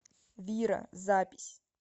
вира запись